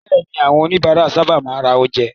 Bẹ́ẹ̀ni, àwọn oníbàárà sábà máa ń ra oúnjẹ.